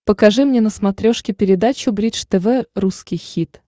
покажи мне на смотрешке передачу бридж тв русский хит